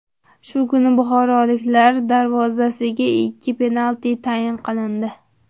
Shu kuni buxoroliklar darvozasiga ikki penalti tayin qilindi.